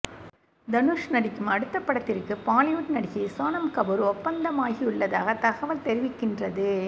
தனுஷ் நடிக்கும் அடுத்த படத்திற்கு பாலிவுட் நடிகை சோனம் கபூர் ஒப்பந்தமாகியுள்ளதாக தகவல் தெரிவிக்கின்றது